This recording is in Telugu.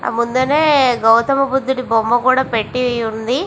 ఆ ముందరే గౌతమ బుద్ధుడి బొమ్మ కూడా పెట్టి ఉంది.